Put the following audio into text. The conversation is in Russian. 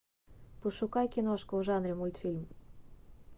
пошукай киношку в жанре мультфильм